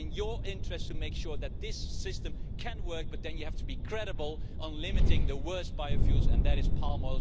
It's in your interest to make sure that this system can work, but then you have to be credible on limiting the worst biofuels, palm oil in particular.